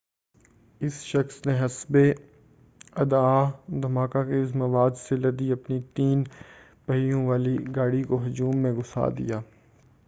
اس شخص نے حسبِ ادّعاء دھماکہ خیز مواد سے لدی اپنی تین پہیوں والی گاڑی کو ہجوم میں گھُسا دیا